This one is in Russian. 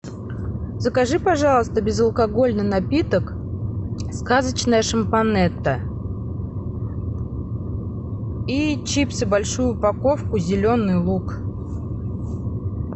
закажи пожалуйста безалкогольный напиток сказочная шампонетта и чипсы большую упаковку зеленый лук